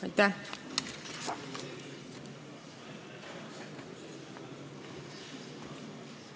Aitäh!